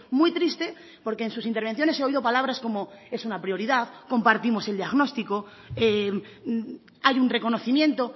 muy triste porque en sus intervenciones he oído palabras como es una prioridad compartimos el diagnóstico hay un reconocimiento